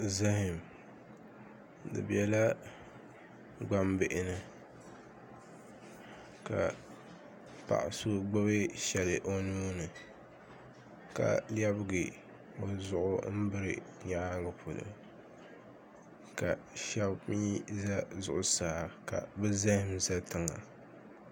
Zaham di biɛla gbambihi ni ka paɣa so gbubi shɛli o nuuni ka lɛbigi o zuɣu n biri nyaangi polo ka shab mii ʒɛ zuɣusaa ka bi zaham ʒɛ tiŋa